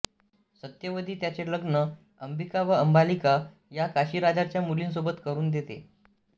सत्यवती त्याचे लग्न अंबिका व अंबालिका या काशीराजाच्या मुलींसोबत करून देते